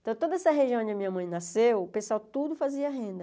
Então, toda essa região onde a minha mãe nasceu, o pessoal tudo fazia renda.